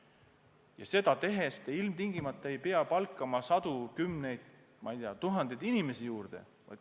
Ja seda tehes te ilmtingimata ei pea palkama kümneid, sadu, ma ei tea, tuhandeid inimesi juurde.